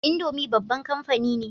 Indomie babban kamfani ne